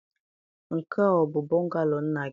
Nke a ọ bụ bungalow nna gị?